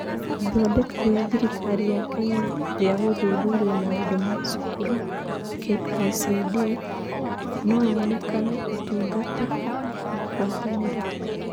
Ithondeka rĩa thirikari ya Kenya rĩa Gũthuthuria Maũndũ ma Cukuru (KICD) no yonekane Ũtungata / Ngwatanĩro